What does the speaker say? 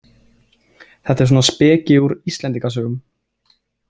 Þetta er svona speki úr Íslendingasögunum.